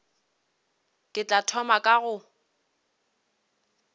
ke tla thoma ka go